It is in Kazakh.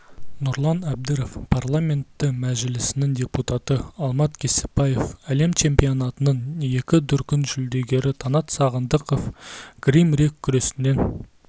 нұрлан әбдіров парламенті мәжілісінің депутаты алмат кебіспаев әлем чемпионатының екі дүркін жүлдегері таңат сағындықов грек-рим күресінен